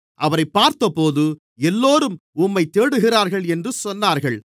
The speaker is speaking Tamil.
அவரைப் பார்த்தபோது எல்லோரும் உம்மைத் தேடுகிறார்கள் என்று சொன்னார்கள்